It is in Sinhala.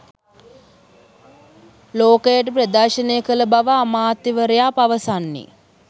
ලෝකයට ප්‍රදර්ශනය කළ බව අමාත්‍යවරයා පවසන්නේ.